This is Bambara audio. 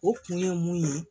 O kun ye mun ye